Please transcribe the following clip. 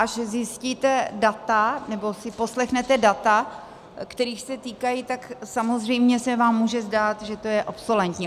Až zjistíte data nebo si poslechnete data, kterých se týkají, tak samozřejmě se vám může zdát, že to je obsoletní.